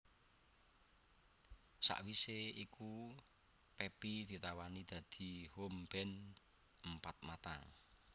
Sawisé iku Pepi ditawani dadi home band Empat Mata